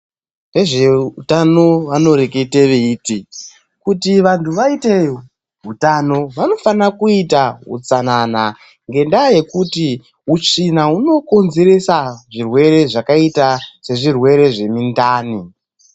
Vezve utano vanorekete veiti kuti vantu vaite hutano vanofana kuita utsanana ngendaya yekuti utsvina hunokonzerese zvirwere zvakaita sezvirwere zvemindani.